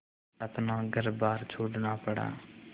अपना घरबार छोड़ना पड़ा